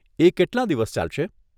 એ કેટલાં દિવસ ચાલશે?